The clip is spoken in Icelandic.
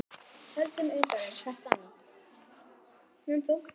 Höldum utan um hvert annað.